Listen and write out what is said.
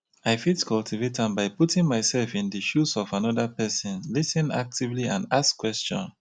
i fit cultivate am by putting myself in di shoes of anoda pesin lis ten actively and ask question.